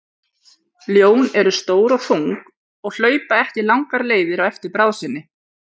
Ljón eru stór og þung og hlaupa ekki langar leiðir á eftir bráð sinni.